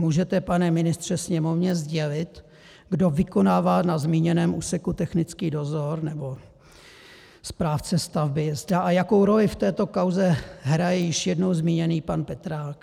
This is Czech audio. Můžete, pane ministře, Sněmovně sdělit, kdo vykonává na zmíněném úseku technický dozor nebo správce stavby, zda a jakou roli v této kauze hraje již jednou zmíněný pan Petrák?